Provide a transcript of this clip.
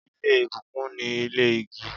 Ile ibukun ni ile igi